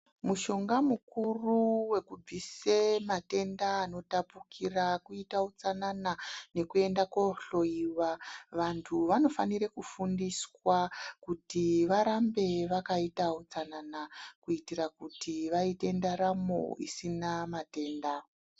Mushonga mukuru wekubvise matenda anotapukira kuita utsanana nekuenda kohloyiwa. Vantu vanofanire kufundiswa kuti varambe vakaita utsanana, kuitira kuti vaite ndaramo isina matenda.